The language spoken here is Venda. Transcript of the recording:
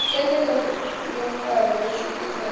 ḽeneḽo ḽiṋwalo ḽo swikiswaho ḽi